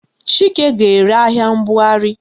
Chike ga-ere ahịa mbugharị